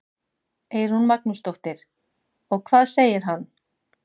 Eyrún Magnúsdóttir: Og hvað segir hann?